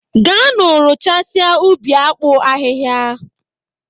Gaanụ rụchasịa ubi akpụ ahịhịa!